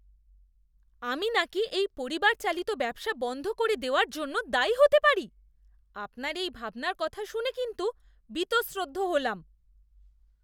আমি নাকি এই পরিবার চালিত ব্যবসা বন্ধ করে দেওয়ার জন্য দায়ী হতে পারি, আপনার এই ভাবনার কথা শুনে কিন্তু বীতশ্রদ্ধ হলাম।